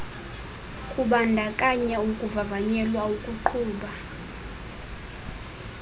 kubandakanya ukuvavanyelwa ukuqhuba